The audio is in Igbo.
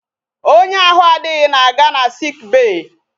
Onye ahụ adịghị na-aga na sick bay.